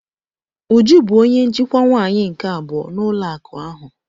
Uju bụ onye njikwa nwaanyị nke abụọ n'ụlọ akụ ahụ.